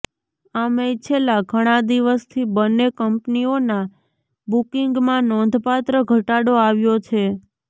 આમેય છેલ્લા ઘણા દિવસથી બંને કંપનીઓનાં બુકિંગમાં નોંધપાત્ર ઘટાડો આવ્યો છે